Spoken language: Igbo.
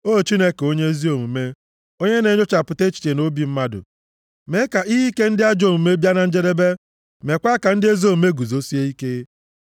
O Chineke onye ezi omume, onye na-enyochapụta echiche na obi mmadụ, mee ka ihe ike ndị ajọ omume bịa na njedebe meekwa ka ndị ezi omume guzosie ike.